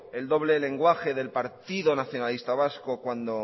el doble lenguaje del partido nacionalista vasco cuando